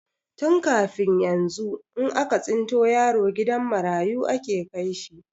Tun kafin yanzu, in aka tsinta yaro gidan marayu ake kai shi.